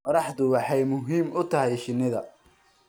Qorraxdu waxay muhiim u tahay shinnida.